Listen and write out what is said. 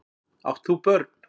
Átt þú börn?